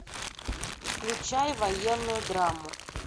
включай военную драму